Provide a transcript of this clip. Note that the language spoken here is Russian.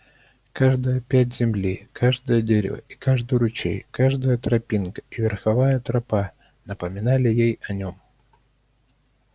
каждая пядь земли каждое дерево и каждый ручей каждая тропинка и верховая тропа напоминали ей о нём